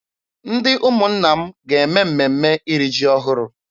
Ndị ụmụnna m ga-eme mmemme iri ji ọhụrụ.